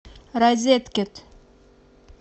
розеткед